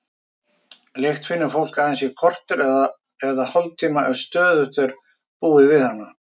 Lykt finnur fólk aðeins í korter eða hálftíma ef stöðugt er búið við hana.